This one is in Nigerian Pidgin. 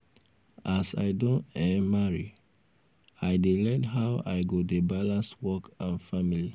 as i don um marry i um dey learn how i go dey balance work and family